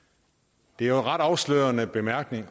det er ret afslørende bemærkning